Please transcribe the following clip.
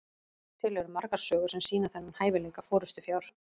til eru margar sögur sem sýna þennan hæfileika forystufjár